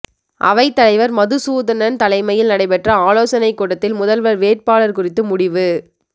அவைத் தலைவர் மதுசூதனன் தலைமையில் நடைபெற்ற ஆலோசனை கூட்டத்தில் முதல்வர் வேட்பாளர் குறித்து முடிவு